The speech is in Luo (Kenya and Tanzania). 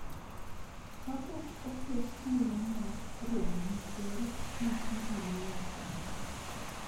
kapok oket thuolo mar romo gi Ker, Muturi nowacho.